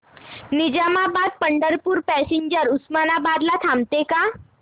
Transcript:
Nizamabad Pandharpur passenger Osmanabad ला थांबते का